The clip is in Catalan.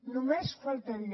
només faltaria